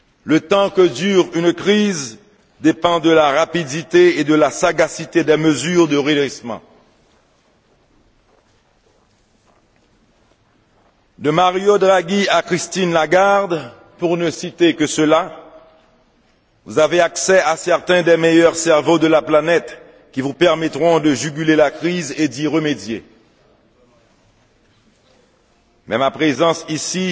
Le temps que dure une crise dépend de la rapidité et de la sagacité des mesures de redressement. De Mario Draghi à Christine Lagarde, pour ne citer que ceux là, vous avez accès à certains des meilleurs cerveaux de la planète, qui vous permettront de juguler la crise et d'y remédier. Mais ma présence ici